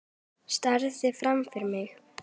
Starði fram fyrir mig.